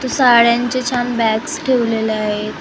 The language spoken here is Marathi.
इथं साड्यांचे छान बॅग्ज ठेवलेले आहेत .